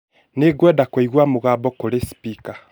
Nĩngwenda kũigua mũgambo kuri spika